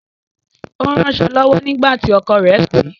Ó ń ránsọ̀ lọwọ́ nígbà tí ọkọ̀ rẹ̀ pè